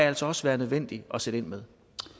altså også være nødvendigt at sætte ind med